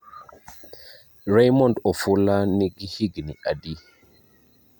Raymond Ofula nigi higni adi?